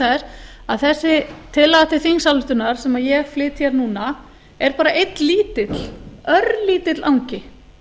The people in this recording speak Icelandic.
þess að þessi tillaga til þingsályktunar sem ég flyt hér núna er bara einn lítill örlítill angi